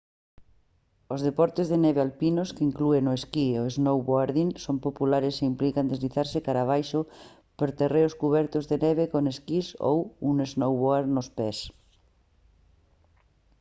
os deportes de neve alpinos que inclúen o esquí e o snowboarding son populares e implican deslizarse cara abaixo por terreos cubertos de neve con esquís ou un snowboard nos pés